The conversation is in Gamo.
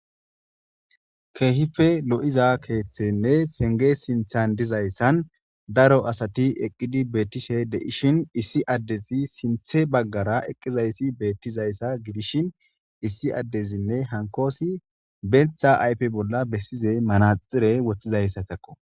Keehife lo'iza keeththenne fenge sinthan dizayssan daro asati eqqidi beettishe deishin issi addezi sinthe baggara eqqizayssi beettizayssa gidishin issi addezinne hankoosi bentha ayfe bolla bessize manaxire woththizayssa takko.